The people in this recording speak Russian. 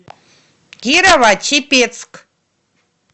кирово чепецк